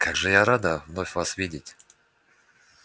как же я рада вновь вас видеть